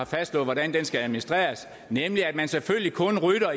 fastslået hvordan den skal administreres nemlig at man selvfølgelig kun rydder